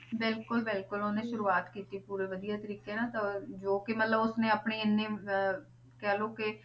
ਬਿਲਕੁਲ ਬਿਲਕੁਲ ਉਹਨੇ ਸ਼ੁਰੂਆਤ ਕੀਤੀ ਪੂਰੇ ਵਧੀਆ ਤਰੀਕੇ ਨਾਲ ਤੇ ਜੋ ਕਿ ਮਤਲਬ ਉਸਨੇ ਆਪਣੇ ਇੰਨੀ ਅਹ ਕਹਿ ਲਓ ਕਿ